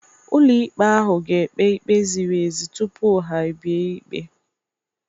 Ụlọikpe ahụ ga-ekpe ikpe ziri ezi tupu ha ebie ikpe